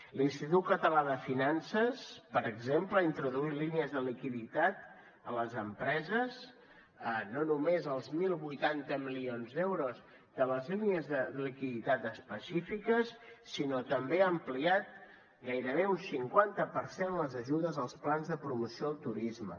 l’institut català de finances per exemple ha introduït línies de liquiditat a les empreses no només els deu vuitanta milions d’euros de les línies de liquiditat específiques sinó també ha ampliat gairebé un cinquanta per cent les ajudes als plans de promoció del turisme